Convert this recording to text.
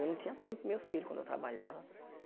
Eu não tinha tempo para os meus filhos quando eu trabalhava.